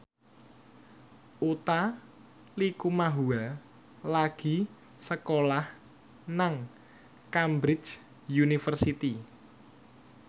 Utha Likumahua lagi sekolah nang Cambridge University